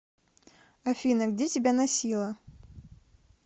афина где тебя носило